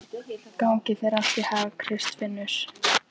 Gangi þér allt í haginn, Kristfinnur.